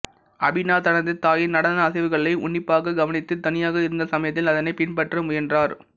அபினா தனது தாயின் நடன அசைவுகளை உன்னிப்பாகக் கவனித்து தனியாக இருந்த சமயத்தில் அதனைப் பின்பற்ற முயன்றார்